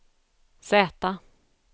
Z